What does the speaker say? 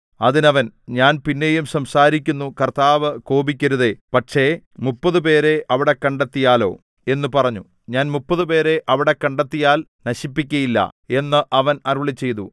അതിന് അവൻ ഞാൻ പിന്നെയും സംസാരിക്കുന്നു കർത്താവ് കോപിക്കരുതേ പക്ഷേ മുപ്പതുപേരെ അവിടെ കണ്ടെത്തിയാലോ എന്നു പറഞ്ഞു ഞാൻ മുപ്പതുപേരെ അവിടെ കണ്ടെത്തിയാൽ നശിപ്പിക്കയില്ല എന്ന് അവൻ അരുളിച്ചെയ്തു